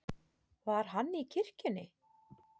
Var hann í kirkjunni?